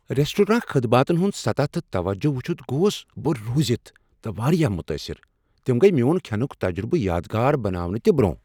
Restaurant خدماتن ہُند سطح تہٕ توجہ وُچھِتھ گوس بہٕ رُوزِتھ تہ واریاہ متاثر ، تم گیہ میون كھینُك تجربہٕ یادگار بناونہ تہِ برونہہ۔